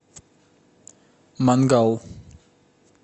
мангал